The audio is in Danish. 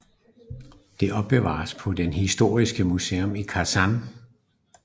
Det opbevares på det historiske museum i Kasan